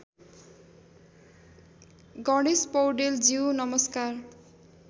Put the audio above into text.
गणेश पौडेलज्यू नमस्कार